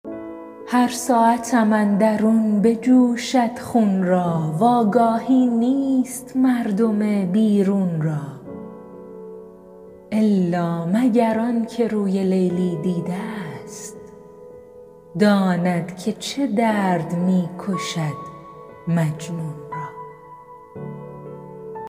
هر ساعتم اندرون بجوشد خون را وآگاهی نیست مردم بیرون را الا مگر آن که روی لیلی دیده ست داند که چه درد می کشد مجنون را